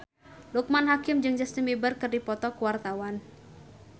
Loekman Hakim jeung Justin Beiber keur dipoto ku wartawan